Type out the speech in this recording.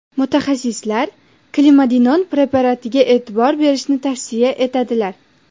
Mutaxassislar Klimadinon preparatiga e’tibor berishni tavsiya etadilar.